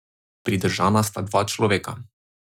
Pridržana sta dva človeka.